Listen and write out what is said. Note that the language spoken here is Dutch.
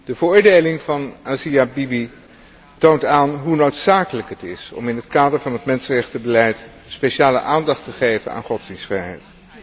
De veroordeling van Asia Bibi toont aan hoe noodzakelijk het is om in het kader van het mensenrechtenbeleid speciale aandacht te geven aan godsdienstvrijheid.